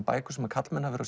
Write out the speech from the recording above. bækur sem karlmenn hafa